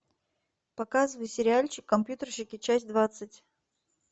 показывай сериальчик компьютерщики часть двадцать